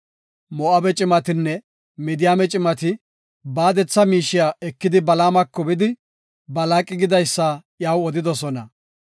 Moo7abe cimatinne Midiyaame cimati baadetha miishiya ekidi Balaamako bidi Balaaqi gidaysa iyaw odidosona.